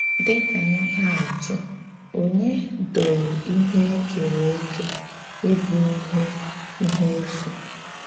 Dị́ ka íhè àtụ̀, Ònye dòrò íhè e kèrè ékè íbụ̀ íhè íhè èfú?